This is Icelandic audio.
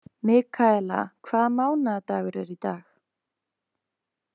Mikaela, hvaða mánaðardagur er í dag?